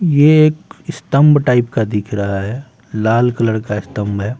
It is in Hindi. ये एक स्तंभ टाइप का दिख रहा है लाल कलर का स्तंभ है।